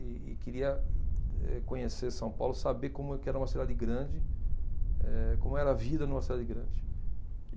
E e queria eh conhecer São Paulo, saber como que era uma cidade grande, eh como era a vida numa cidade grande.